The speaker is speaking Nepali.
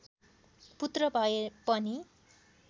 पुत्र भए पनि